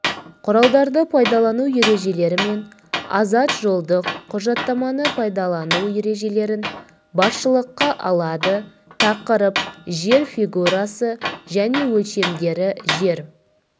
құралдарды пайдалану ережелерімен азат жолдық құжаттаманы пайдалану ережелерін басшылыққа алады тақырып жер фигурасы және өлшемдері жер